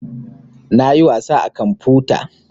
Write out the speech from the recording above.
Na yi wasa a kamfuta